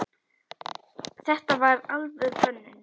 Þetta var alvöru hönnun.